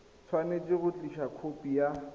tshwanetse go tlisa khopi ya